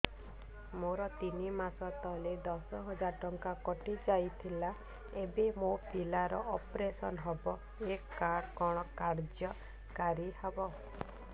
ମୋର ତିନି ମାସ ତଳେ ଦଶ ହଜାର ଟଙ୍କା କଟି ଯାଇଥିଲା ଏବେ ମୋ ପିଲା ର ଅପେରସନ ହବ ଏ କାର୍ଡ କଣ କାର୍ଯ୍ୟ କାରି ହବ